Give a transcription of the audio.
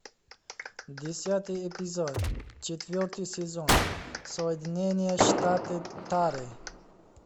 десятый эпизод четвертый сезон соединение штаты тары